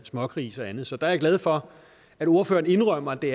smågrise og andet så der er jeg glad for at ordføreren indrømmer at det